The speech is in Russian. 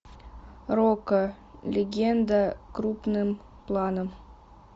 рокко легенда крупным планом